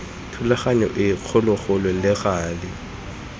thulaganyo e kgologolo le gale